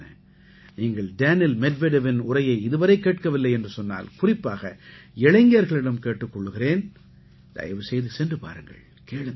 நீங்கள் டேனில் மெட்வெடெவின் உரையை இதுவரை கேட்கவில்லை என்று சொன்னால் குறிப்பாக இளைஞர்களிடம் கேட்டுக் கொள்கிறேன் தயவு செய்து சென்று பாருங்கள் கேளுங்கள்